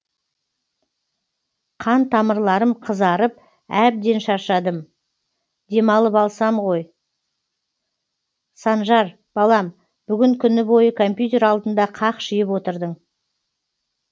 қан тамырларым қызарып әбден шаршадым демалып алсам ғой санжар балам бүгін күні бойы компьютер алдында қақшиып отырдың